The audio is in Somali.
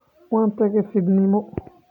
Waxa tagey fidnimo.